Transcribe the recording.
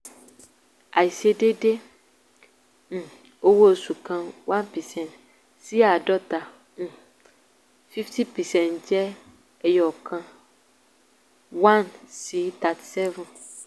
àìse déédé um owó oṣù kan one percent sí àádọ́ta um fifty percent jẹ́ ẹyọ̀kan one sí thirty seven.